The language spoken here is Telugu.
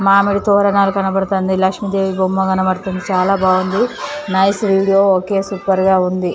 మామిడి తోరణాలు కనబడుతుంది లక్ష్మీదేవి బొమ్మ కనపడుతుంది చాలా బాగుంది నైస్ వీడియో ఒకే సూపర్ గా ఉంది.